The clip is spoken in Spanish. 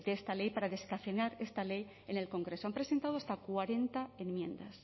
esta ley para descafeinar esta ley en el congreso han presentado hasta cuarenta enmiendas